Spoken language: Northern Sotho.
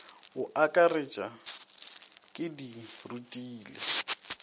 a aketša ke di rutile